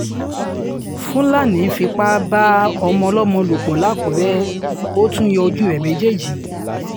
fúlàní fipá bá ọmọ ọlọ́mọ lò pọ̀ lákùrẹ́ ó tún yọ ojú rẹ̀ méjèèjì